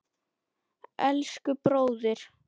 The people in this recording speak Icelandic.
Elsku bróðir!